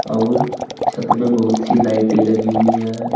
और छत में बहुत सी लाइटे लगी हुई है।